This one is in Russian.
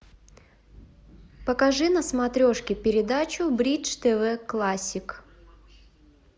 покажи на смотрешке передачу бридж тв классик